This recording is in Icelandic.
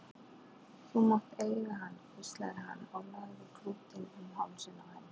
Þú mátt eiga hann hvíslaði hann og lagði klútinn um hálsinn á henni.